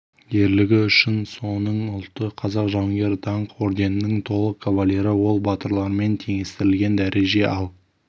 ерлігі үшін соның ұлты қазақ жауынгер даңқ орденінің толық кавалері ол батырлармен теңестірілген дәреже ал